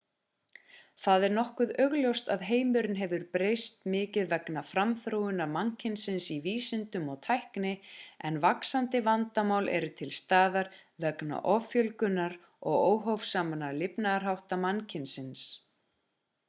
það er nokkuð augljóst að heimurinn hefur breyst mikið vegna framþróunar mannkynsins í vísindum og tækni en vaxandi vandamál eru til staðar vegna offjölgunar og óhófsamra lifnaðarhátta mannkynsins